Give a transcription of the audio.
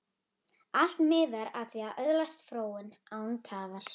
Allt miðar að því að öðlast fróun, án tafar.